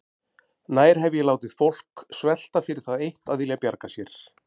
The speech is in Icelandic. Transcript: Nær hef ég látið fólk svelta fyrir það eitt að vilja bjarga sér?